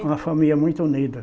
Era uma família muito unida.